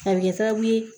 A bɛ kɛ sababu ye